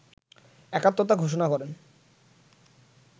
একাত্মতা ঘোষণা করেন